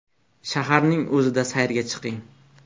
Shaharning o‘zida sayrga chiqing.